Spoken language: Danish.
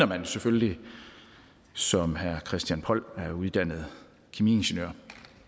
man selvfølgelig som herre christian poll er uddannet kemiingeniør